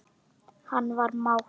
Hann var mát.